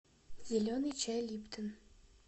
зеленый чай липтон